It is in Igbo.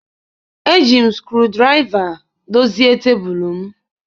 Eji m screwdriver dozie tebụl m.